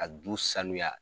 Ka du sanuya.